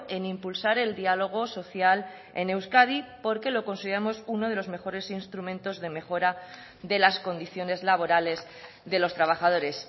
en impulsar el diálogo social en euskadi porque lo consideramos uno de los mejores instrumentos de mejora de las condiciones laborales de los trabajadores